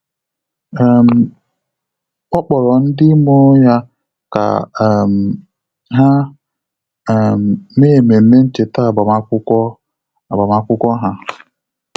um Ọ́ kpọ̀rọ̀ ndị mụrụ ya kà um há um mèé ememe ncheta agbamakwụkwọ agbamakwụkwọ ha.